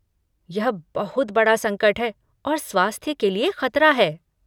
यह बहुत बड़ा संकट है और स्वास्थ्य के लिए खतरा है।